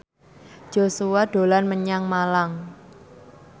Joshua dolan menyang Malang